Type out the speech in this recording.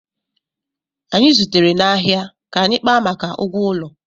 Anyị zutere n'ahịa ka anyị kpaa maka ụgwọ ụlọ